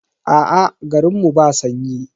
Aa, garin mu ba sanyi.